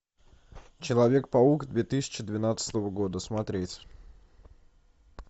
человек паук две тысячи двенадцатого года смотреть